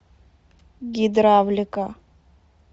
гидравлика